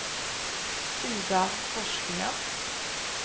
Ida Forsgren